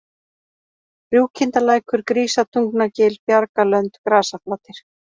Rjúkindalækur, Grísatungnagil, Bjargalönd, Grasaflatir